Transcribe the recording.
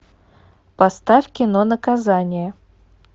поставь кино наказание